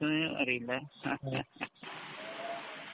യെന്നറിയില്ല.